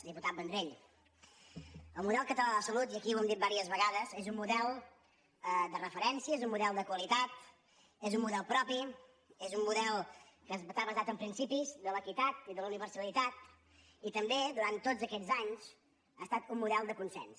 diputat vendrell el model català de salut i aquí ho hem dit diverses vegades és un model de referència és un model de qualitat és un model propi és un model que està basat en principis de l’equitat i de la universalitat i també durant tots aquests anys ha estat un model de consens